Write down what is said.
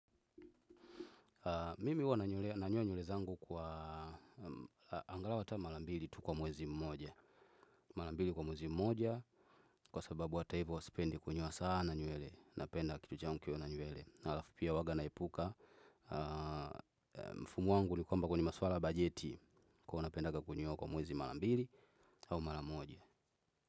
Mimi huwa nanyoa nywele zangu kwa angalau ata mara mbili tu kwa mwezi mmoja. Mara mbili kwa mwezi mmoja, kwa sababu hata hivyo sipendi kunyoa sana nywele. Napenda kichwa changu kikiwa na nywele, na halafu pia huwa naipuka. Mfumo wangu ni kwamba kwenye masuala ya bajeti, napenda kunyoa kwa mwezi mara mbili au mara moja.